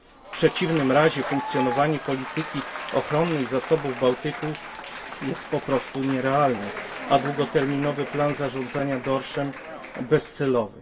W przeciwnym razie funkcjonowanie polityki ochronnej zasobów Bałtyku jest po prostu nierealne, a długoterminowy plan zarządzania dorszem bezcelowy.